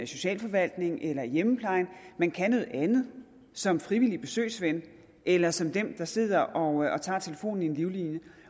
socialforvaltning eller hjemmeplejen man kan noget andet som frivillig besøgsven eller som den der sidder og tager telefonen i en livlinje